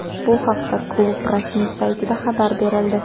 Bu haqda klub rasmiy saytida xabar berildi .